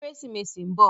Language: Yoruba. Kérésimési n bò